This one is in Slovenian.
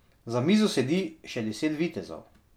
Za mizo sedi še deset vitezov.